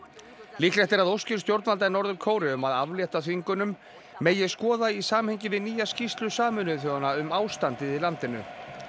líklegt er að óskir stjórnvalda í Norður Kóreu um að aflétta þvingunum megi skoða í samhengi við nýja skýrslu Sameinuðu þjóðanna um ástandið í landinu